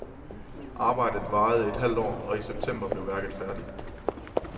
Arbejdet varede et halvt år, og i september blev værket færdigt.